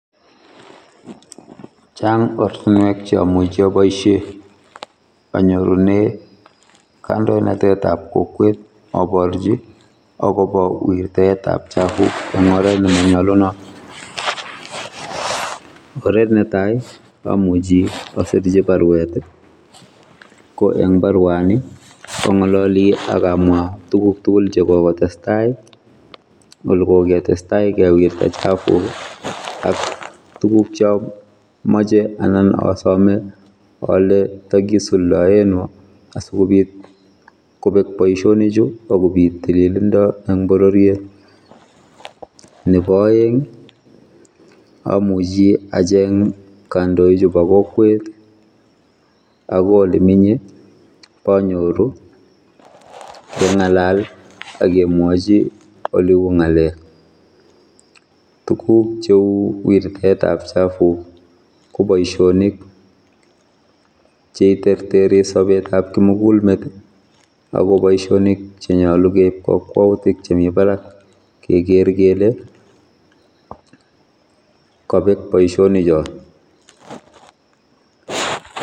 Chang ortinwek cheamuchi aboisie anyorune kandoinatetab kokwet aborchi akobo wirtaetab chabuk eng oret nenyalunot. Oret netai amuchi asirchi barwet ko eng barwani angololi akamwa tuguk tuguk chekokotestai ole koketestai kewirte chafuk ak tugukcho moche anan asome ale tagisuldaeno asikobit kobek boisionichu akobit tililindo eng bororiet. Nebo aeng amuchi acheng kandoichu bokokwet akoi ole menye bonyoru kengalal agemwachi oleu ngalek tuguk cheu wirtetab chafuk koboisionik cheiterteri sobetab kimugulmet agoboisionik chenyalu keib kakwoutik chemi barak keker kele kabek boisionichot